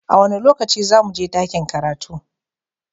A wane lokaci za mu je dakin karatu?